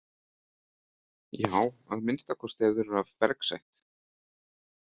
Já að minnsta kosti ef þeir eru af bergsætt.